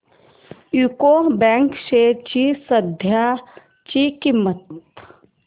UCO bank shares ची सध्याची किंमत